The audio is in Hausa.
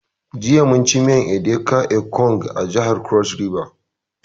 Jiya mun ci miyar edika ekong a jihar cross river